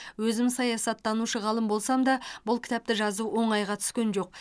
өзім саясаттанушы ғалым болсам да бұл кітапты жазу оңайға түскен жоқ